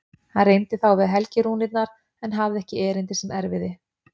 Hann reyndi þá við helgirúnirnar en hafði ekki erindi sem erfiði.